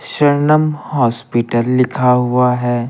शरणम हॉस्पिटल लिखा हुआ है।